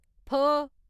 फ